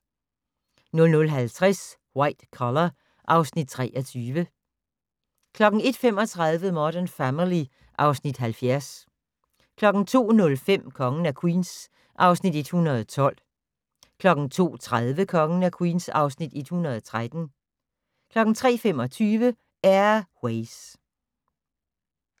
00:50: White Collar (Afs. 23) 01:35: Modern Family (Afs. 70) 02:05: Kongen af Queens (Afs. 112) 02:30: Kongen af Queens (Afs. 113) 03:25: Air Ways